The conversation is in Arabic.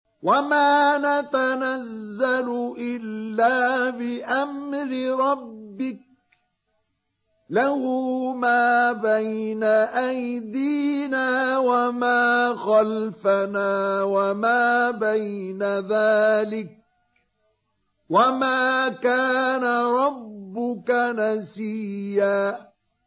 وَمَا نَتَنَزَّلُ إِلَّا بِأَمْرِ رَبِّكَ ۖ لَهُ مَا بَيْنَ أَيْدِينَا وَمَا خَلْفَنَا وَمَا بَيْنَ ذَٰلِكَ ۚ وَمَا كَانَ رَبُّكَ نَسِيًّا